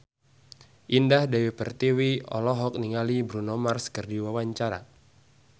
Indah Dewi Pertiwi olohok ningali Bruno Mars keur diwawancara